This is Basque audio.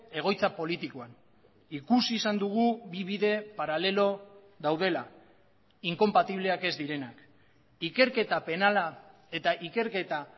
egoitza politikoan ikusi izan dugu bi bide paralelo daudela inkonpatibleak ez direnak ikerketa penala eta ikerketa